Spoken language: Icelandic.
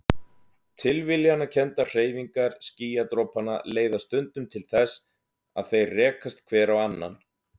Tilviljanakenndar hreyfingar skýjadropanna leiða stundum til þess að þeir rekast hver á annan.